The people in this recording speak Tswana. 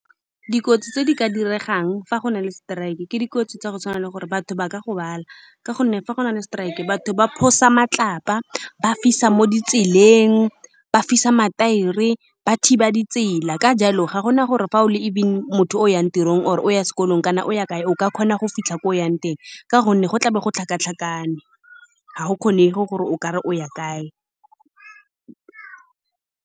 Dikotsi tse di ka diregang fa go na le strike ke dikotsi tsa go tshwana le gore batho ba ka gobala, ka gonne fa go na le strike batho ba matlapa, ba fisa mo ditseleng, ba fisa mathaere, ba thiba ditsela. Ka jalo, ga gona gore fa o le even motho o o yang tirong, o o yang sekolong kana o ya kae, o ka kgona go fitlha koo yang teng, ka gonne go tlabo go tlhakatlhakane, ga go kgonege gore o kare o ya kae.